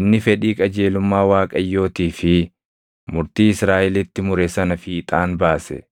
inni fedhii qajeelumma Waaqayyootii fi murtii Israaʼelitti mure sana fiixaan baase.”